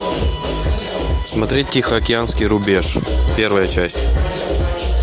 смотреть тихоокеанский рубеж первая часть